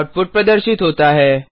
output प्रदर्शित होता है